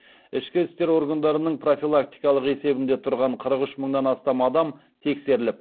ішкі істер органдарының профилактикалық есебінде тұрған қырық үш мыңнан астам адам тексеріліп